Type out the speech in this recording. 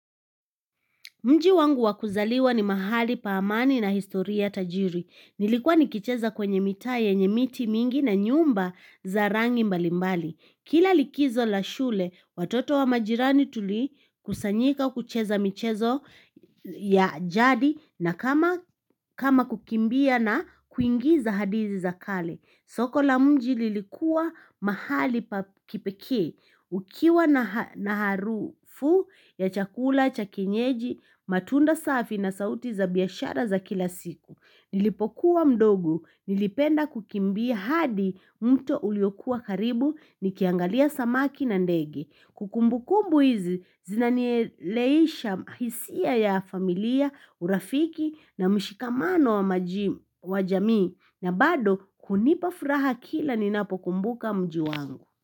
Mji wangu wa kuzaliwa ni mahali pa amani na historia tajiri. Nilikuwa nikicheza kwenye mitaa yenye miti mingi na nyumba za rangi mbalimbali. Kila likizo la shule, watoto wa majirani tuli kusanyika kucheza michezo ya jadi na kama kama kukimbia na kuingiza hadithii za kale. Soko la mji lilikuwa mahali pa kipekee. Ukiwa na harufu ya chakula, cha kienyeji, matunda safi na sauti za biashara za kila siku Nilipokuwa mdogo, nilipenda kukimbia hadi mto uliokuwa karibu nikiangalia samaki na ndege. Kumbukumbu hizi, zinanieleisha hisia ya familia, urafiki na mshikamano wa jamii na bado unipa furaha kila ninapokumbuka mji wangu.